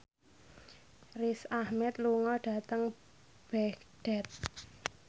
Riz Ahmed lunga dhateng Baghdad